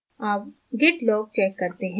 अब git log check करते हैं